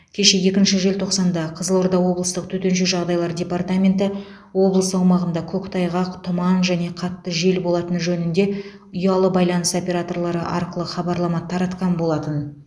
кеше екінші желтоқсанда қызылорда облыстық төтенше жағдайлар департаменті облыс аумағында көктайғақ тұман және қатты жел болатыны жөнінде ұялы байланыс операторлары арқылы хабарлама таратқан болатын